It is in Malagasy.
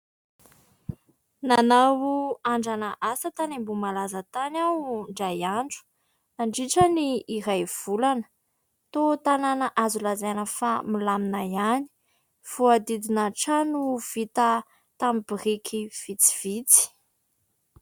Nanao andrana asa tany Ambohimalaza tany aho indray andro nandritran'ny iray volana, toa tanàna azo laizaina fa milamina ihany, voahodidina trano vita tamin'ny biriky vitsivitsy.